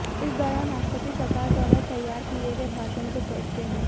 इस दौरान राष्ट्रपति सरकार द्वारा तैयार किए गए भाषण को पढ़ते हैं